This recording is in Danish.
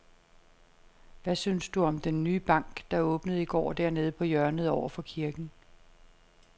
Hvad synes du om den nye bank, der åbnede i går dernede på hjørnet over for kirken?